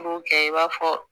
K'o kɛ i b'a fɔ